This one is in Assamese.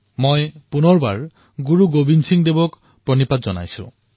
মই পুনৰ বাৰ শ্ৰী গুৰু গোৱিন্দ সিঙক সেৱা জনাইছোঁ